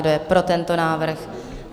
Kdo je pro tento návrh?